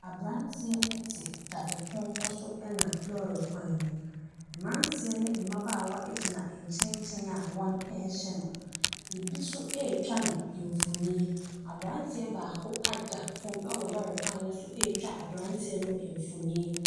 Aberanteɛ te dadepɔnkɔ so nam lɔre kwan mu. Mmeranteɛ ne mmabaawa gyina nyɛnkyɛn a wɔrehwɛ no. ebi nso retwa no mfonin. Aberanteɛ baako ada fam wɔ lɔre kwan no so retwa aberanteɛ no mfonin.